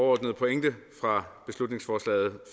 overordnede pointe fra beslutningsforslaget